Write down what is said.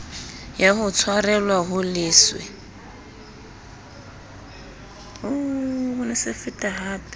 ya ho tshwarelwa ho leswe